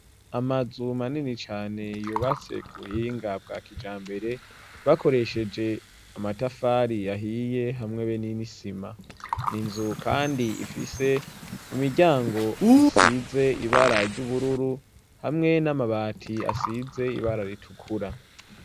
Amazu manini cane yubatse kubuhinga bwa kija mbere bakoresheje amatafari ahiye hamwe be n'inisima ninzu kandi ifise imiryango isize ibara ry'ubururu hamwe n'amabati asize ibara ritukura.